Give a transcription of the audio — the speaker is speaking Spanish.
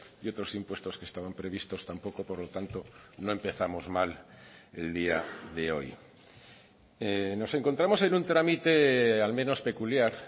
y otros impuestos que estaban previstos tampoco por lo tanto no empezamos mal el día de hoy nos encontramos en un trámite al menos peculiar